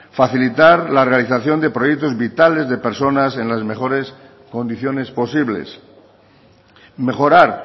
facilitar la realización de proyectos vitales de personas en las mejores condiciones posibles mejorar